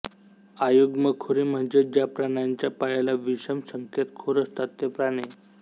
अयुग्मखुरी म्हणजे ज्या प्राण्यांच्या पायाला विषम संख्येत खूर असतात ते प्राणी